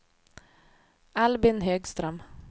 Albin Högström